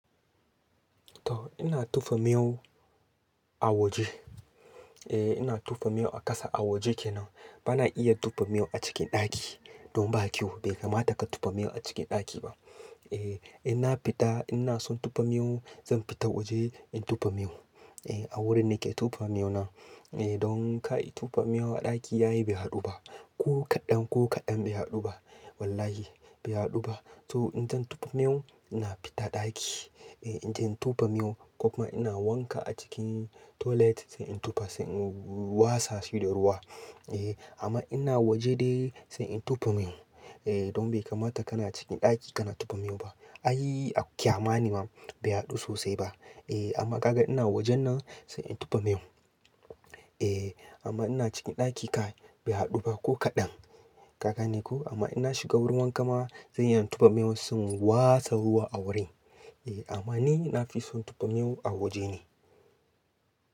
To ina tufe miyau a waje. Eh ina tufe miyau a kasa a waje kenan. Bana iya tufe miyau a cikin ɗaki. Don ba kyau. Bai kamata ka tufe miyau a cikin ɗaki ba. Eh ina fita ina son tufe miyau zan fita waje in tufe miyau. Eh a wurin nake tufe miyau nan. Eh don ka yi tufe miyau a ɗaki yayi bai haɗu ba. Ko kaɗan ko kaɗan bai haɗu ba. Wallahi bai haɗu ba. To in zan tufe miyau ina fita ɗaki. Eh idan in tufe miyau ko kuma ina wanka a cikin toilet sai in tufe sai in wasa shi da ruwa. Eh amma ina waje dai sai in tufe miyau. Eh don bai kamata kana cikin ɗaki kana tufe miyau ba. Ai kyamani ma bai haɗu sosai ba. Eh amma gaga ina wajen nan sai in tufe miyau. Eh amma ina cikin ɗaki kai bai haɗu ba ko kaɗan. Ka gane ko? Amma ina shiga wurin wanka ma zan iya tufe miyau sai in wasa ruwa a wurin. Eh ama ni na fi son tufe miyau a waje ne.